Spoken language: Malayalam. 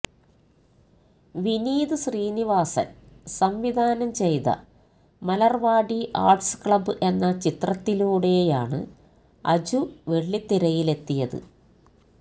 വിനീത് ശ്രീനിവാസന് സംവിധാനം ചെയ്ത മലര്വാടി ആര്ട്സ് ക്ലബ്ബ് എന്ന ചിത്രത്തിലൂടെയാണ് അജു വെള്ളിത്തിരയിലെത്തിയത്